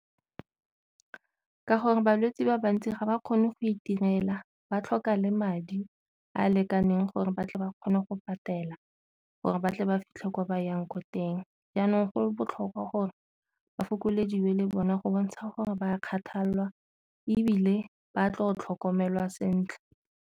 Ke gore balwetsi ba bantsi ga ba kgone go itirela ba tlhoka le madi a a lekaneng gore ba tle ba kgone go patela, gore ba tle ba fitlhe ko ba yang ko teng. Jaanong go botlhokwa gore ba fokolediwe le bona go bontsha gore ba kgathalelwa ebile ba tlo tlhokomelwa sentle.